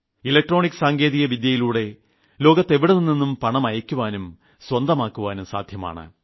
electronic സാങ്കേതികവിദ്യയിലൂടെ ലോകത്തെവിടെനിന്നും പണം അയയ്ക്കുവാനും കൈപ്പറ്റുവാനും സാധ്യമാണ്